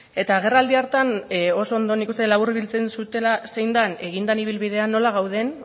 eta agerraldi hartan oso ondo nik uste dut laburbiltzen zutela zein den egin den ibilbidea nola gauden